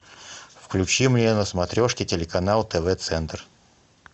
включи мне на смотрешке телеканал тв центр